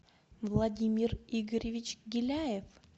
владимир игоревич гиляев